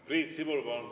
Priit Sibul, palun!